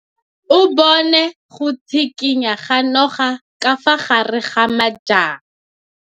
O bone go tshikinya ga noga ka fa gare ga majang.